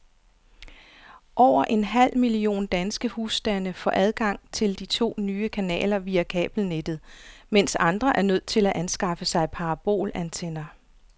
Over en halv million danske husstande får adgang til de to nye kanaler via kabelnettet, mens andre er nødt til at anskaffe sig parabolantenner.